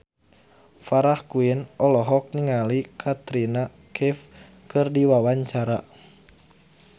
Farah Quinn olohok ningali Katrina Kaif keur diwawancara